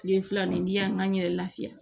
Tile fila nin n'i y'an ka n yɛrɛ lafiya